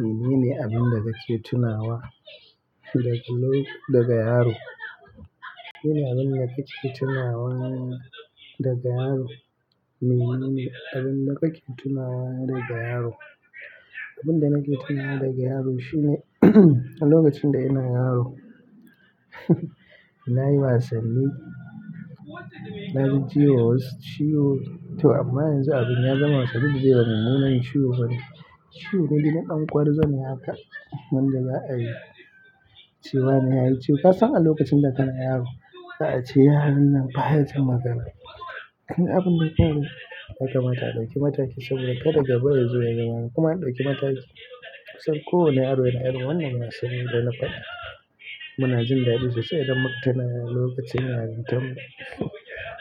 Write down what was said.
Menene abin da kake tunawa da daga yaro? Abin da kake tunawa daga yaro, menene abin da ka tunawa daga yaro? Abin da nake tunawa daga yaro shine a lokacin da ina yaro nayi wasanni, na jijima wasu ciwo to amma yanzu abun ya zama sabili ba mummunan ciwo bane. Ciwo ne dai ɗan ƙwarzani haka wan da za a ce wane yaji ciwo. Ka san a lokacin da kana yaro, za a ce yaranan baya jin magana. Kalli abun da ya faru yaka mata a ɗauki saboda kada gaba yazo zuwa ya zama kuma an ɗauki mata kisa. Saboda kusan ko wane yaro yana irin wannan wasanni da na faɗa muna jin daɗi sosai idan muka tuna lokacin yaron tan mu.